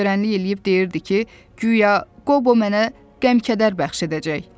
O uzaqgörənlik eləyib deyirdi ki, guya Qobo mənə qəm-kədər bəxş edəcək.